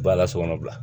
Ba la sokɔnɔ bila